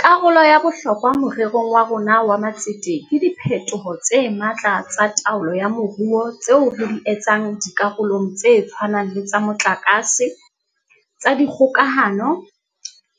Karolo ya bohlokwa more rong wa rona wa matsete ke diphetoho tse matla tsa taolo ya moruo tseo re di etsang di karolong tse tshwanang le tsa motlakase, tsa dikgokahano,